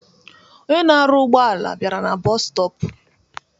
Onye na-arụ ụgbọala bịara na bọọsu stọp.